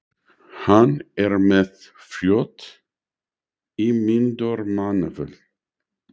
Hann er með frjótt ímyndunarafl.